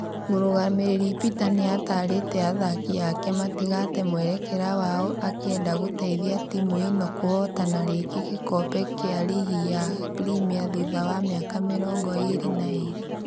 Mũrugamĩrĩri Peter nĩatarĩte athaki ake matigate mwerekera wao akienda gũteithia timũ ino gũhotana rĩngi gĩkombe gĩa rigi ya premier thutha wa miaka mĩrongo ĩrĩ na ĩrĩ